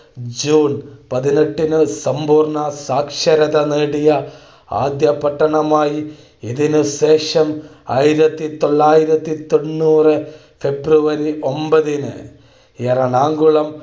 June പതിനെട്ടിനു സമ്പൂർണ്ണ സാക്ഷരത നേടിയ ആദ്യ പട്ടണമായി. ഇതിനുശേഷം ആയിരത്തി തൊള്ളായിരത്തി തൊണ്ണൂറു ഫെബ്രുവരി ഒൻപതിനു എറണാകുളം